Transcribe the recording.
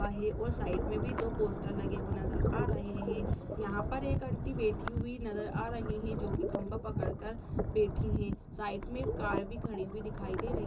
--है और साइड मे भी दो पोस्टर लगे हुए नजर आ रहे हे यहाँ पर एक आंटी बैठी हुई नजर आ रही हे जो कि खंभा पकड़ कर बैठी हे साइड मे एक कार भी खड़ी हुई दिखाई दे रही --